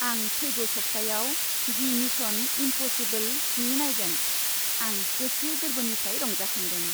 आं फैगौ सप्तायाव दि मिशन इम्प'सिबोल स्नि नायगोन, आं गोसो गोरबोनिफ्राय रंजाखांदों!